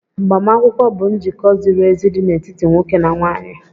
Agbamakwụkwọ bụ njikọ ziri ezi dị n'etiti nwoke na nwaanyị